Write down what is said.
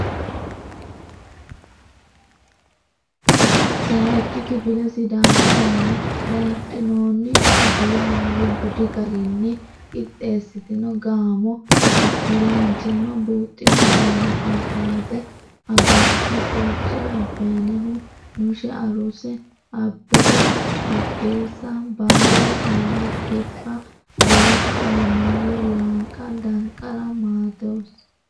Sayikki Kifile Sidaamu Zoone Dadhinoonni Afii Haaru Budi Garinni Qixxeessitino Gaamo Isilanchimma Buuxxino Gaamo Abaate Hagoosi Borce Abbayneh Nushe Arusa Abbebe Urgeessa Baalle Alemu Kirba Booto Alamaayyo Lanqa Danqara Maatoos.